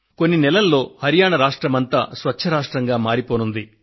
కొన్ని నెలల్లో హరియాణా రాష్ట్రమంతా స్వచ్ఛ రాష్ట్రంగా మారిపోనుంది